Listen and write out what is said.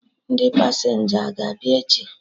Ndị pasenja a ga-abịa echi?